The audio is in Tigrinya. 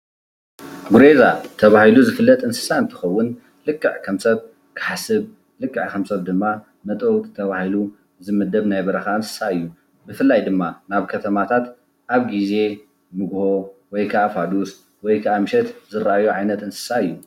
ጉሬላ ተባሂሉ ዝፍለጥ እንስሳ እንትከውን ልክዕ ከም ሰብ ክሓስብ ልክዕ ከም ሰብ መጥበውቲ ተባሂሉ ዝምደብ ናይ በረካ እንስሳ እዩ። ብፍላይ ድማ ናብ ከተማታት ኣብ ግዜ ንግሆ ወይካኣ ፋዱስ ወይካኣ ምሸት ዝረኣይ ዓይነት እንስሳ እዩ።